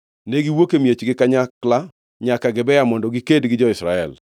Ne giwuok e miechgi kanyakla nyaka Gibea mondo giked gi jo-Israel.